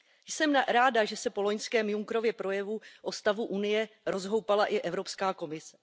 Jsem ráda, že se po loňském Junckerově projevu o stavu Unie rozhoupala i Evropská komise.